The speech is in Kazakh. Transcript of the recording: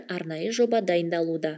арнайы жоба дайындалуда